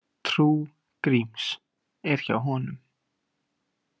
Trú Gríms er hjá honum.